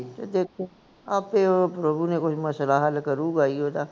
ਤੇ ਦੇਖੋ ਆਪੇ ਉਹ ਪ੍ਰਭੂ ਨੇ ਕੋਈ ਮਸਲਾ ਹੱਲ ਕਰੂਗਾ ਹੀ ਓਹਦਾ